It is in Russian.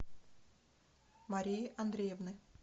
марии андреевны